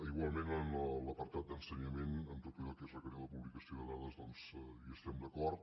igualment en l’apartat d’ensenyament en tot allò que és requerir la publicació de dades doncs hi estem d’acord